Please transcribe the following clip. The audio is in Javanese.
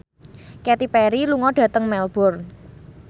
Katy Perry lunga dhateng Melbourne